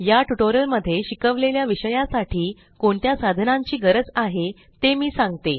या ट्यूटोरियल मध्ये शिकवलेल्या विषया साठी कोणत्या साधनांची गरज आहे ते मी सांगते